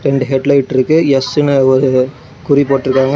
இரண்டு head light இருக்கு எஸ்ன்னு ஒரு குறி போட்டுருக்காங்க.